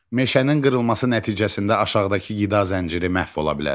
Meşənin qırılması nəticəsində aşağıdakı qida zənciri məhv ola bilər.